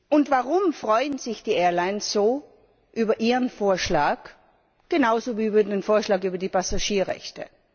Und warum freuen sich die Airlines so über Ihren Vorschlag genauso wie über den Vorschlag über die Passagierrechte?